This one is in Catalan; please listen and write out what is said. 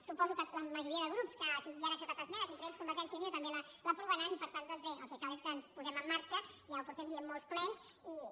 suposo que la majoria de grups a qui han acceptat esmenes entre ells convergència i unió també l’aprovaran i per tant doncs bé el que cal és que ens posem en marxa ja fa molts plens que ho diem